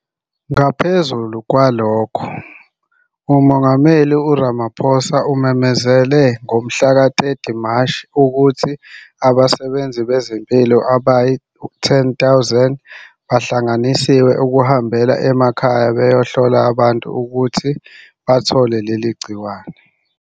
Ngaphezu kwalokho, uMengameli uRamaphosa umemezele ngomhlaka 30 Mashi 2020 ukuthi abasebenzi bezempilo abayi-10 000 bahlanganisiwe ukuhambela amakhaya bayohlola abantu ukuthi bathola leli gciwane.